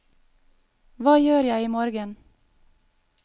hva gjør jeg imorgen